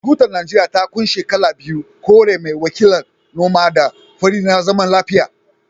Tutar Najeriya ta kunshi kala biyu, kore mai wakiltar noma da fari na zaman lafiya